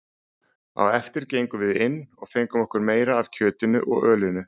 Á eftir gengum við inn og fengum okkur meira af kjötinu og ölinu.